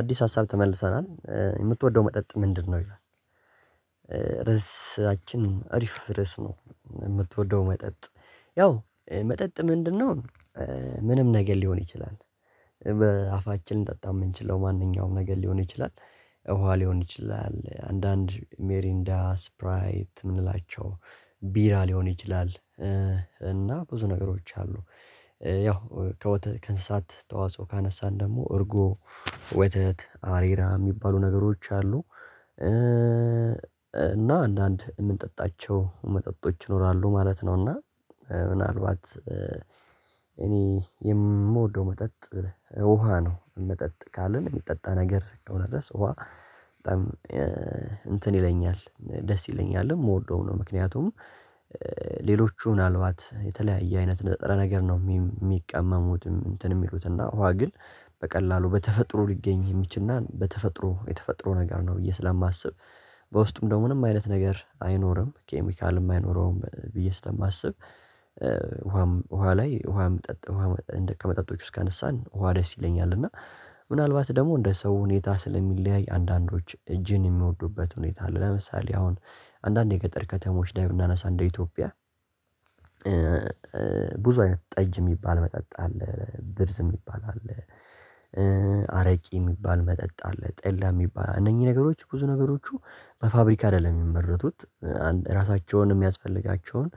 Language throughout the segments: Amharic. አዲስ ሀሳብ ተመልሰናል የምትወደው መጠጥ ምንድነው? ይላል ርዕሳችን አሪፍ ርዕስ ነው የምትወደው መጠጥ ያው መጠጥ ምንድነው ምንም ነገር ሊሆን ይችላል በአፋችን ልንጠጣ የምንችለው ማንኛውም ነገር ሊሆን ይችላል እውነት ሊሆን ይችላል አንዳንድ ሜሪንዳ ስፕራይት የምንላቸው ቢራ ሊሆን ይችላል እና ብዙ ነገሮች አሉ ያው ከወተት ከእንስሳት ተዋጽኦ ካነሳን ደግሞ እርጎ ወተት አሬራ የሚባሉ ነገሮች አሉ እና አንዳንድ የምንጠጣቸው መጠጦች ይኖራሉ ማለት ነው እና ምናልባት እኔ የምወደው መጠጥ ውሃ ነው መጠጥ ካልን የሚጠጣ ነገር ስትሆን ነው ድረስ ውሃ በጣም እንትን ይለኛል ደስ ይለኛል የምወደው ነው ምክንያቱም ሌሎቹ ምናልባት የተለያየ አይነት ነጥረ ነገር ነው የሚቀመሙትም እንትን የሚሉት እና ውሃ ግን በቀላሉ በተፈጥሮ ሊገኝ የሚችልና በተፈጥሮ የተፈጥሮ ነገር ነው ብዬ ስለማስብ በውስጡም ደግሞ ምንም አይነት ነገር አይኖርም ኬሚካልም አይኖረውም ብዬ ስለማስብ ውሃም ውሃ ላይ ውሃም ከመጠጦች ውስጥ ካነሳን ውሃ ደስ ይለኛል እና ምናልባት ደግሞ እንደ ሰው ሁኔታ ስለሚለያይ አንዳንዶች እጅን የሚወዱበት ሁኔታ አለ ለምሳሌ አሁን አንዳንድ የገጠር ከተሞች ላይ ብናነሳ እንደ ኢትዮጵያ ብዙ አይነት ጠጅ የሚባል መጠጥ አለ ብርዝ የሚባል አለ አረቂ የሚባል መጠጥ አለ ጠላ የሚባል እነኚህ ነገሮች ብዙ ነገሮቹ በፋብሪካ አይደለም የሚመረቱት አንድ ራሳቸውን የሚያስፈልጋቸውን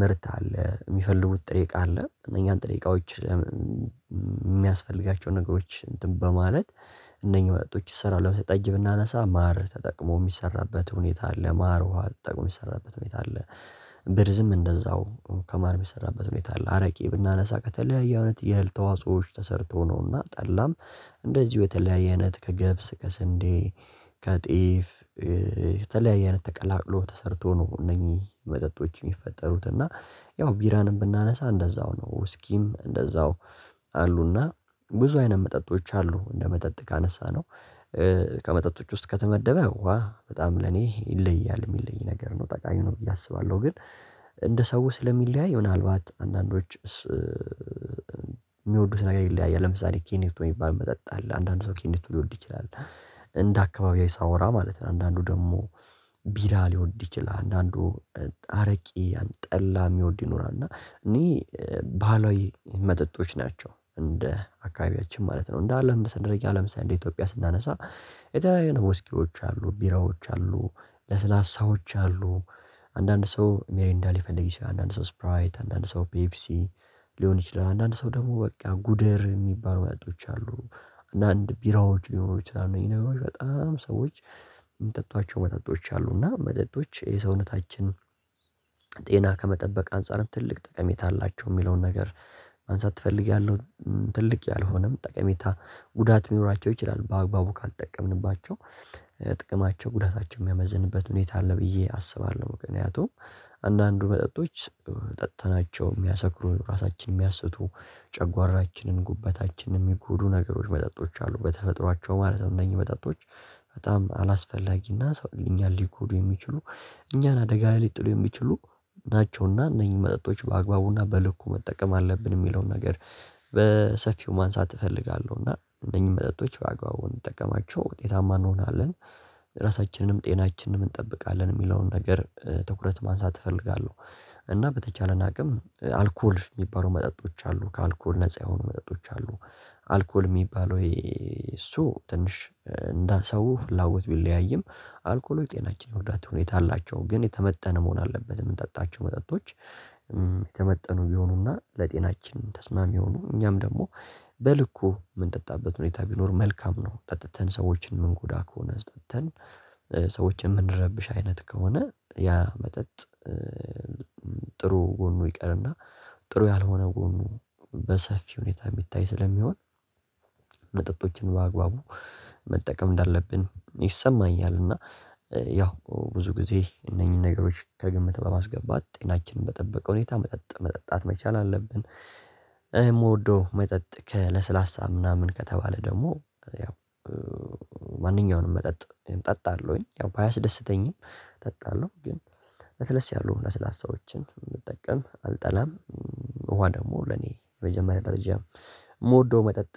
ምርት አለ የሚፈልጉት ጥሬ እቃ አለ እነኛን ጥሬ እቃዎች የሚያስፈልጋቸው ነገሮች እንትን በማለት እነኚህ መጠጦች ይሰራሉ ለምሳሌ ጠጅ ብናነሳ ማር ተጠቅሞ የሚሰራበት ሁኔታ አለ ማር ውሃ ተጠቅሞ የሚሰራበት ሁኔታ አለ ብርዝም እንደዛው ከማር የሚሰራበት ሁኔታ አለ አረቄ ብናነሳ ከተለያየ እውነት የህል ተዋጾዎች ተሰርቶ ነውና ጠላም እንደዚሁ የተለያየ አይነት ከገብስ ከስንዴ ከጤፍ የተለያየ አይነት ተቀላቅሎ ተሰርቶ ነው እነኚህ መጠጦች የሚፈጠሩት እና ያው ቢራንም ብናነሳ እንደዛው ነው እስኪም እንደዛው አሉና ብዙ አይነት መጠጦች አሉ እንደመጠጥ ካነሳነው ከመጠጦች ውስጥ ከተመደበ ውሃ በጣም ለኔ ይለያል የሚለይ ነገር ነው ጠቃሚ ነው ብዬ አስባለሁ ግን እንደ ሰው ስለሚለያይ ምናልባት አንዳንዶች የሚወዱት ነገር ይይለያያል ለምሳሌ ኪኒቶ የሚባል መጠጥ አለ አንዳንዶቹ ኪኒቶ ሊወድ ይችላል እንደ አካባቢያዊ ሳወራ ማለት ነው አንዳንዶቹ ደግሞ ቢራ ሊወድ ይችላል አንዳንዶቹ አረቄ ጠላ የሚወድ ይኖራል እና እኔ ባህላዊ መጠጦች ናቸው እንደ አካባቢያችን ማለት ነው እንደ አለም እንደ አለም ደረጃ ለምሳሌ ሳይሆን እንደ ኢትዮጵያ ስናነሳ የተለያየ ነው ውስኪዎች አሉ ቢራዎች አሉ ለስላሳዎች አሉ አንዳንድ ሰው ሚሪንዳ ሊፈልጊ ሰው አንዳንድ ሰው ስፕራይት አንዳንድ ሰው ፔፕሲ ሊሆን ይችላል አንዳንድ ሰው ደግሞ በቃ ጉደር የሚባሉ መጠጦች አሉ አንዳንድ ቢራዎች ሊሆኑ ይችላሉ ይሄ ነው በጣም ሰወች የሚጠጧቸው መጠጦች አሉ እና መጠጦች የሰውነታችን ጤና ከመጠበቅ አንፃርም ትልቅ ጠቀሜታ አላቸው የሚለውን ነገር ማንሳት ፈልጊያለሁ ትልቅ ያልሆነም ጠቀሜታ ጉዳት የሚኖራቸው ይችላል በአግባቡ ካልጠቀምንባቸው ጥቅማቸው ጉዳታቸው የሚያመዝንበት ሁኔታ አለ ብዬ አስባለሁ ምክንያቱም አንዳንዱ መጠጦች ጠጥተናቸው የሚያሰክሩ ራሳችንን የሚያስቱ ጨጓራችንን ጉበታችንን የሚጎዱ ነገሮች መጠጦች አሉ በተፈጥሯቸው ማለት ነው እነኚህ መጠጦች በጣም አላስፈላጊና ሰው እኛን ሊጎዱ የሚችሉ እኛን አደጋ ሊጥሉ የሚችሉ ናቸውና እነኚህ መጠጦች በአግባቡና በልኩ መጠቀም አለብን የሚለውን ነገር በሰፊው ማንሳት እፈልጋለሁና እነኚህ መጠጦች በአግባቡ እንጠቀማቸው ውጤታማ እንሆናለን ራሳችንንም ጤናችንንም እንጠብቃለን የሚለውን ነገር ትኩረት ማንሳት እፈልጋለሁ እና በተቻለን አቅም አልኮል የሚባሉ መጠጦች አሉ ከአልኮል ነፃ የሆኑ መጠጦች አሉ አልኮል የሚባሉ ወይ እሱ ትንሽ እንደ ሰው ፍላጎት ቢለያይም አልኮሎች ጤናችን የወዳተ ሁኔታ አላቸው ግን የተመተነ መሆን አለበት የምንጠጣቸው መጠጦች የተመጠኑ ቢሆኑና ለጤናችን ተስማሚ የሆኑ እኛም ደግሞ በልኩ የምንጠጣበት ሁኔታ ቢኖር መልካም ነው ጠጥተን ሰዎችን የምንጎዳ ከሆነ ጠጥተን ሰዎችን የምንረብሽ አይነት ከሆነ ያ መጠጥ ጥሩ ጎኑ ይቀርና ጥሩ ያልሆነ ጎኑ በሰፊ ሁኔታ የሚታይ ስለሚሆን መጠጦችን በአግባቡ መጠቀም እንዳለብን ይሰማኛልና ያው ብዙ ጊዜ እነኚህን ነገሮች ከግምት በማስገባት ጤናችንን በጠበቀ ሁኔታ መጠጥ መጠጣት መቻል አለብን የምወደው መጠጥ ከለስላሳ ምናምን ከተባለ ደግሞ ያው ማንኛውንም መጠጥ እጠጣለሁኝ ያው ባያስደስተኝም እጠጣለሁ ግን ለስለስ ያሉ ለስላሳዎችን ብንጠቀም አልጠላም ውሃ ደግሞ ለኔ የመጀመሪያ ደረጃ የምወደው መጠጥ